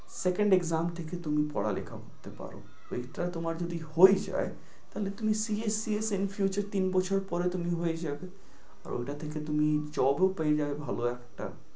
Second exam থেকে তুমি পড়ালেখা করতে পারো। এইটা তোমার যদি হয়ে যায়, তাহলে তুমি CA, CS in future এ তিন বছর পরে হয়ে যাবে। ওটা থেকে তুমি job ও পেয়ে যাবে ভালো একটা।